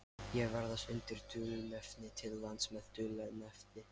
Ég ferðast undir dulnefni til lands með dulnefni.